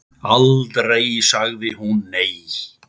Aldrei sagði hún nei.